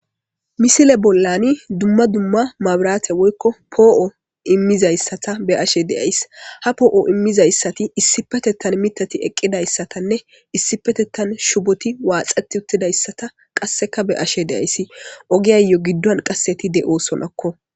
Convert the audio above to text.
misile bollani dumma dumma mabiraate woykko poo7o immizayssata be ashe deays ha poo7o immizayssati issipetettan mitati eqqidayssatanne issipetettan shuboti waaxati uttidayssata qasseka be ashe deayssi ogiyayyo giddon qasseti de7osonakko